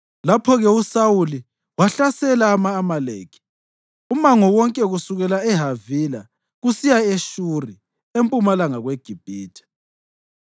Lapho-ke uSawuli wahlasela ama-Amaleki umango wonke kusukela eHavila kusiya eShuri, empumalanga kweGibhithe.